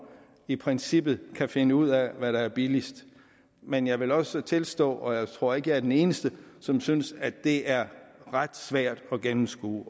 i princippet kan finde ud af hvad der er billigst men jeg vil også tilstå og jeg tror ikke jeg er den eneste som synes at det er ret svært at gennemskue